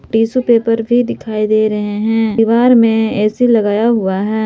Tissue paper भी दिखाई दे रहे हैं दीवार में ए_सी लगाया हुआ है।